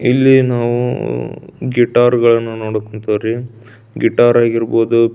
ಇಲ್ಲಿ ನಾವು ಗಿಟಾರ್ ಗಲನ್ನು ನೋಡುತಿದ್ದೇರಿ ಗಿಟಾರ್ ಆಗಿರ್ಬಹುದು--